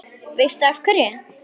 Veistu af hverju?